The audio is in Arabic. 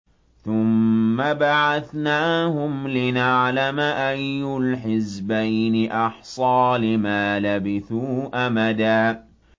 ثُمَّ بَعَثْنَاهُمْ لِنَعْلَمَ أَيُّ الْحِزْبَيْنِ أَحْصَىٰ لِمَا لَبِثُوا أَمَدًا